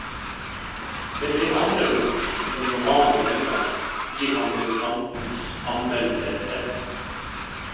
Med sin andre bok, en roman denne gangen, gir han debutantens anmeldere rett.